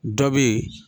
Dɔ bɛ ye